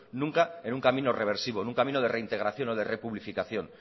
nunca en un camino reversivo en un camino de reintegración o de republicación